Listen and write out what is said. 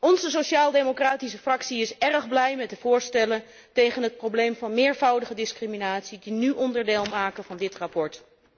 Onze Sociaal democratische Fractie is erg blij met de voorstellen tegen het probleem van meervoudige discriminatie die nu onderdeel uitmaken van dit verslag.